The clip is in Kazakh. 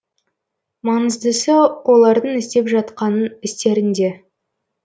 маңыздысы олардың істеп жатқан істерінде